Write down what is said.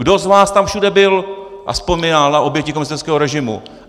Kdo z vás tam všude byl a vzpomínal na oběti komunistického režimu?